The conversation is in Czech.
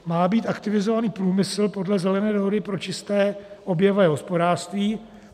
Má být aktivizovaný průmysl podle Zelené dohody pro čisté oběhové hospodářství.